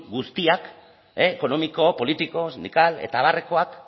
guztiek ekonomiko politiko sindikal eta abarrekoek